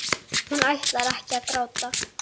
Hún ætlar ekki að gráta.